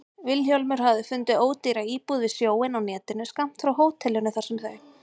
Vilhjálmur hafði fundið ódýra íbúð við sjóinn á netinu, skammt frá hótelinu þar sem þau